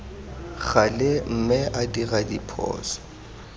gale mme a dira diphoso